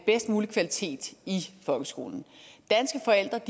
bedst mulig kvalitet i folkeskolen danske forældre